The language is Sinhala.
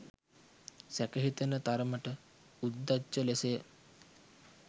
සැක හිතෙන තරමට උද්දච්ච ලෙසය